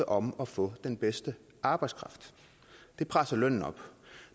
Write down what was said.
om at få den bedste arbejdskraft det presser lønnen op